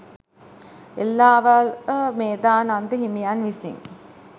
එල්ලාවල මේධානන්ද හිමියන් විසින්